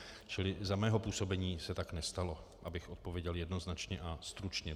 Čili za mého působení se tak nestalo, abych odpověděl jednoznačně a stručně.